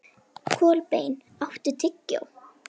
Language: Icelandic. Kolbeinn, áttu tyggjó?